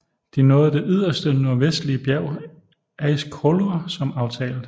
De nåede det yderste nordvestlige bjerg Eiðiskollur som aftalt